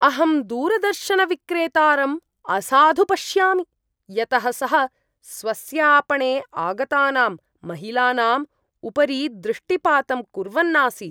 अहं दूरदर्शनविक्रेतारं असाधु पश्यामि यतः सः स्वस्य आपणे आगतानां महिलानाम् उपरि दृष्टिपातं कुर्वन् आसीत्।